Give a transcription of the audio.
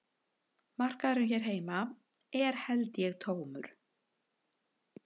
Markaðurinn hér heima er held ég tómur